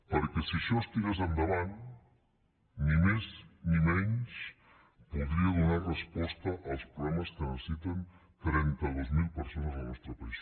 perquè si això es tirés endavant ni més ni menys podria donar resposta als programes que necessiten trenta dos mil persones al nostre país